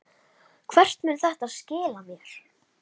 Hvert mun þetta skila mér?